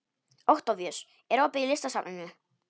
Októvíus, er opið í Listasafninu?